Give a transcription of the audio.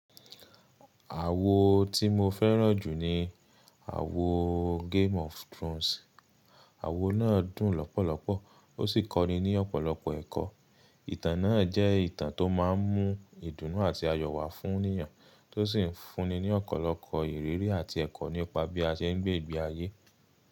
Àwo tí mo fẹ́ràn jù ni àwo Game of Thrones. Àwo náà dùn lọ́pọ̀lọpọ̀ ó sì kọ́ni ní ọ̀pọ̀lọpọ̀ ẹ̀kọ́. Ìtàn náà jẹ́ ìtàn tó máà ń mú ìdùnnú àti ayọ̀ wá fún ènìyàn tó sì ń fún'ni ní ọ̀pọ̀lọpọ̀ ìrírí àti ẹ̀kọ́ nípa bí a ṣe ń gbé ìgbé ayé.